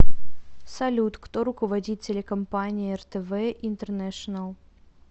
салют кто руководит телекомпания ртв интернешенел